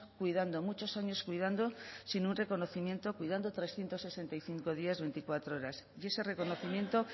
cuidando muchos años cuidando sin un reconocimiento cuidando trescientos sesenta y cinco días veinticuatro horas y ese reconocimiento